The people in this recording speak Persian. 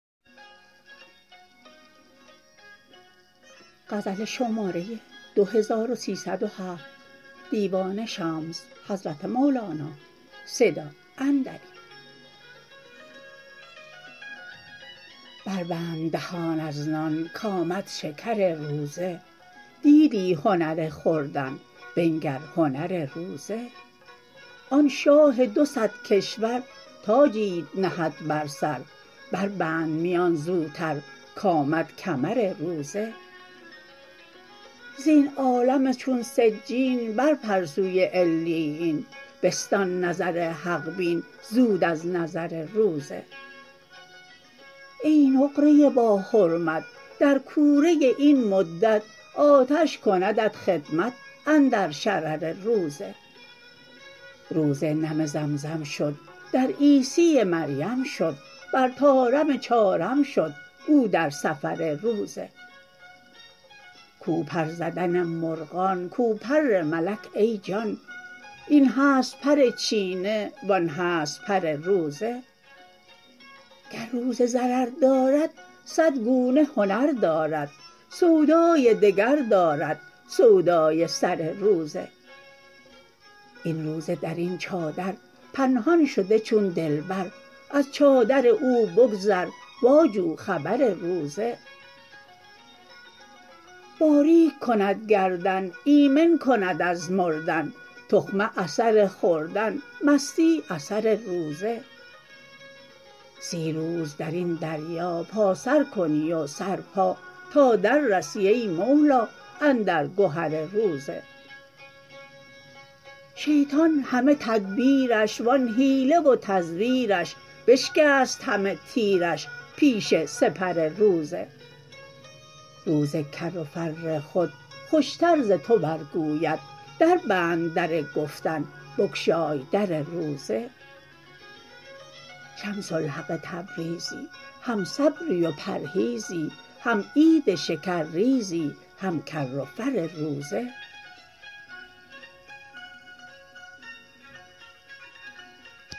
بربند دهان از نان کآمد شکر روزه دیدی هنر خوردن بنگر هنر روزه آن شاه دو صد کشور تاجیت نهد بر سر بربند میان زوتر کآمد کمر روزه زین عالم چون سجین برپر سوی علیین بستان نظر حق بین زود از نظر روزه ای نقره باحرمت در کوره این مدت آتش کندت خدمت اندر شرر روزه روزه نم زمزم شد در عیسی مریم شد بر طارم چارم شد او در سفر روزه کو پر زدن مرغان کو پر ملک ای جان این هست پر چینه و آن هست پر روزه گر روزه ضرر دارد صد گونه هنر دارد سودای دگر دارد سودای سر روزه این روزه در این چادر پنهان شده چون دلبر از چادر او بگذر واجو خبر روزه باریک کند گردن ایمن کند از مردن تخمه اثر خوردن مستی اثر روزه سی روز در این دریا پا سر کنی و سر پا تا دررسی ای مولا اندر گهر روزه شیطان همه تدبیرش و آن حیله و تزویرش بشکست همه تیرش پیش سپر روزه روزه کر و فر خود خوشتر ز تو برگوید دربند در گفتن بگشای در روزه شمس الحق تبریزی هم صبری و پرهیزی هم عید شکرریزی هم کر و فر روزه